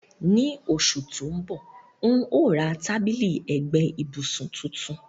Ni osù to n bọ, n o ra tábìlì ẹ́gbẹ ibùsùn tuntun